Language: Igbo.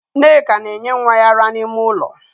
Nneka na enye nwa ya ara n'ime ụlọ